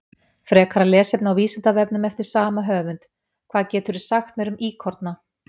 Frekara lesefni á Vísindavefnum eftir sama höfund: Hvað geturðu sagt mér um íkorna?